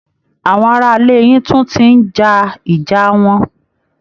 Àwọn ará ilé yín tún ti ń jà ìjà wọn